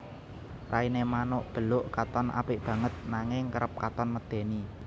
Rainé manuk beluk katon apik banget nanging kerep katon medèni